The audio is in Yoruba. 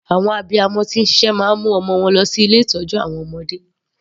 Àwọn abiyamọ tí ń ṣiṣẹ́ máa ń mu ọmọ wọn lọ sí ilé ìtọ́jú àwọn ọmọdé.